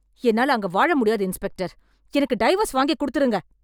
என்னால அங்க வாழ முடியாது இன்ஸ்பெக்டர். எனக்கு டைவர்ஸ் வாங்கிக் குடுத்துருங்க